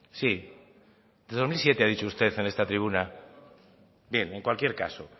sí dos mil siete ha dicho usted en esta tribuna bien en cualquier caso